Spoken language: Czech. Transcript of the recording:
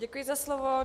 Děkuji za slovo.